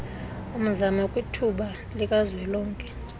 mzamo kwithuba likazwelonke